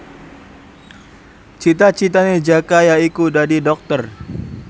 cita citane Jaka yaiku dadi dokter